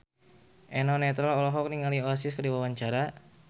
Eno Netral olohok ningali Oasis keur diwawancara